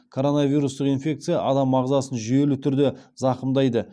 коронавирустық инфекция адам ағзасын жүйелі түрде зақымдайды